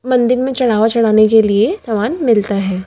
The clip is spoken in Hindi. मंदिर में चढ़ावा चढ़ाने के लिए सामान मिलता है।